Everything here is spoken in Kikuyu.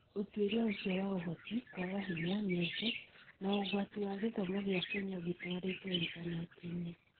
Utuĩria ũcio wa Ũhoti, kwaga hinya, mĩeke, na ũgwati wa gĩthomo gĩa Kenya gĩtwarĩtwo intaneti-inĩ